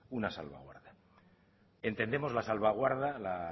una salva guarda entendemos la salvaguarda la